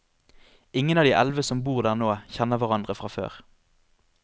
Ingen av de elleve som bor der nå, kjenner hverandre fra før.